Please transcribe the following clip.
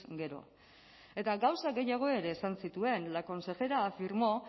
gero eta gauza gehiago ere esan zituen la consejera afirmó